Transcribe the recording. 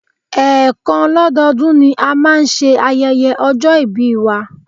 Ẹ́ẹ̀kan lọ́dọọdún ni a máa ń ṣe ayẹyẹ ọjọ́ ìbí wa